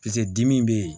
dimi be yen